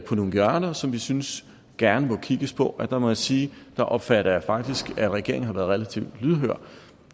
på nogle hjørner som vi synes gerne må kigges på og der må jeg sige at der opfatter jeg faktisk at regeringen har været relativt lydhøre